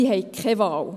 Sie haben keine Wahl.